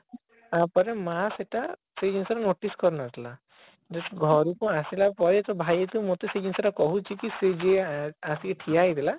ତାପରେ ମା ସେଟା ସେଇ ଜିନିଷ ଟା notice କରିନଥିଲା just ଘଋକୁ ଆସିଲା ପରେ ତ ଭାଇ ଯେତେବେଳେ ମୋତେ ସେଇ ଜିନିଷଟା କହୁଛି କି ସେ ଯିଏ ଆସିକି ଠିଆ ହେଇଥିଲା